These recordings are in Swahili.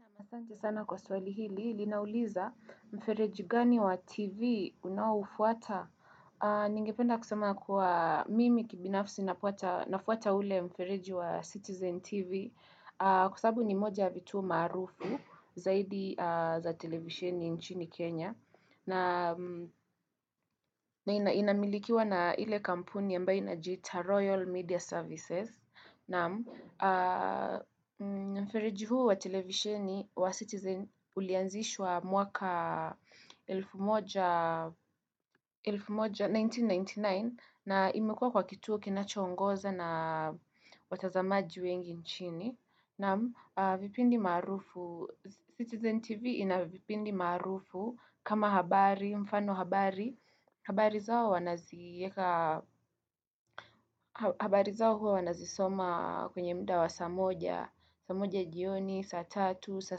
Na masante sana kwa swali hili, linauliza mfereji gani wa TV unawafuata? Ningependa kusema kwa mimi kibinafsi nafuata ule mfereji wa Citizen TV kusabu ni moja vitu maarufu zaidi za televisheni nchini Kenya na inamilikiwa na ile kampuni yamba inajita Royal Media Services na mfereji huu wa televisheni wa Citizen ulianzishwa mwaka 1999 na imekua kwa kituo kinacho ongoza na watazamaji wengi nchini. Na vipindi marufu, Citizen TV ina vipindi marufu kama habari, mfano habari. Habari zao huwa wanazisoma kwenye mda wa saa moja, saa moja jioni, saa tatu, saa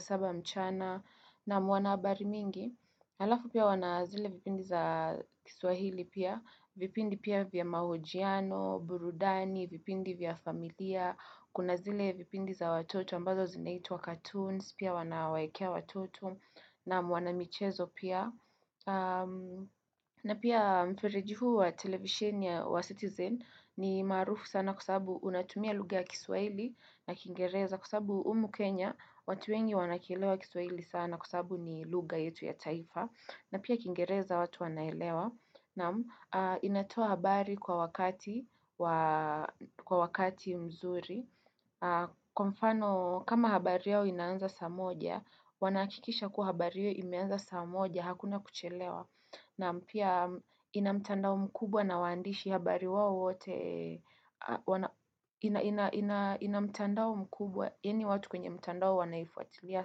saba mchana na mwana habari mingi. Halafu pia wanazile vipindi za kiswahili pia. Vipindi pia vya mahojiano, burudani, vipindi vya familia. Pia kuna zile vipindi za watoto ambazo zinaitu wa cartoons, pia wanawakea watoto na wanamichezo pia. Na pia mferejihu wa television ya wa citizen ni marufu sana kusabu unatumia lugha ya kiswahili na kingereza. Kusabu humu Kenya, watu wengi wanakilewa kiswahili sana kusabu ni lugha yetu ya taifa. Na pia kingereza watu wanaelewa na inatoa habari kwa wakati mzuri kama habari yao inanza saa moja wanakikisha kuhabari yao inanza saa moja hakuna kuchelewa na pia inamtandau mkubwa na wandishi inamtandau mkubwa eni watu kwenye mtandau wanaifuatilia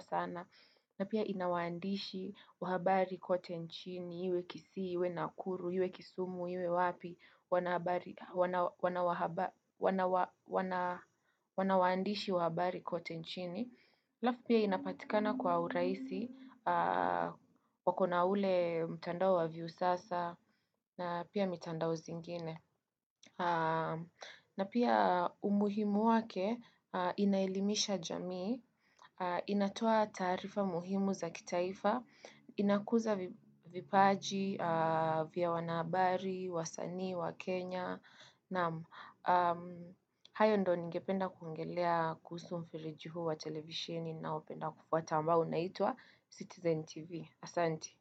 sana na pia inawandishi wahabari kote nchini, iwe kisii, iwe nakuru, iwe kisumu, iwe wapi, wanawandishi wahabari kote nchini. Laf pia inapatikana kwa uraisi, wakona ule mtandao wa vyu sasa, na pia mtandao zingine. Na pia umuhimu wake inailimisha jamii, inatoa tarifa muhimu za kitaifa, inakuza vipaji vya wanabari, wasani, wakenya Naam, hayo ndo ningependa kuongelea kuhusu mfereji juhu wa televishini na openda kufuwa tamba unaitua Citizen TV Asanti.